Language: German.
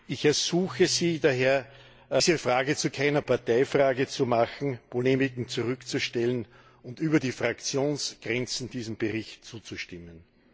Ich ersuche Sie daher, diese Frage zu keiner Parteifrage zu machen, Polemiken zurückzustellen und über die Fraktionsgrenzen hinweg diesem Bericht zuzustimmen!